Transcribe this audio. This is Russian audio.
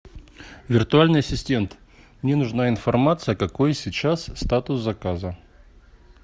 виртуальный ассистент мне нужна информация какой сейчас статус заказа